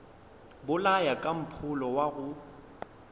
bolaya ka mpholo wa go